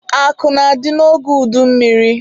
Akụ na-adị n'oge udummiri.